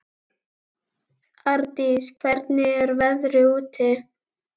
Ardís, hvernig er veðrið úti?